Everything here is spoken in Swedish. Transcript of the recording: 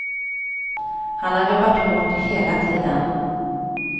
Han har jobbat hårt hela tiden.